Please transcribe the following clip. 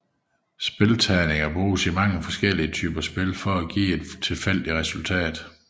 Spilleterninger bruges i mange forskellige typer spil for at give et tilfældigt resultat